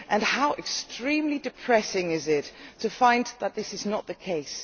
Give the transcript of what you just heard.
How extremely depressing it is to find that this is not the case.